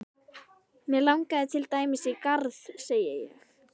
Mig langar til dæmis í garð, segi ég.